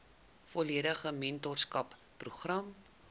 volledige mentorskap program